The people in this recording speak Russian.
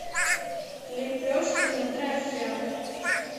лепешки на дрожжах